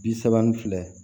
Bi saba ni fila